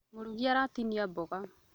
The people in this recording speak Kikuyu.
Mũrugi aratinia mboga